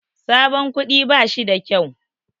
Sabon kuɗi bashi da kyau.